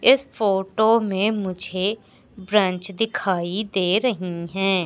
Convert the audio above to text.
इस फोटो मे मुझे बेंच दिखाई दे रही है।